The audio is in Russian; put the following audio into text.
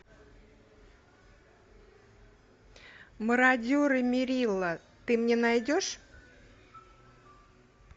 мародеры мерила ты мне найдешь